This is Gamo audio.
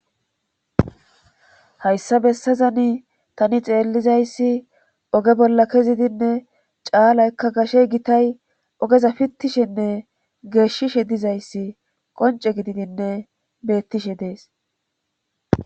Hayssa bessazani tani xeellizayssi oge bolla kezidinne caalaykka gashey gitay ogeza pittishenne geeshishe dizayssi qonce gididinne beettishe dees.